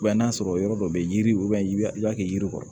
n'a sɔrɔ yɔrɔ dɔ bɛ yen yiri ka kɛ yiri kɔrɔ